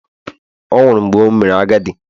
Ọ̀ nwụrụ mgbe o mere agadi?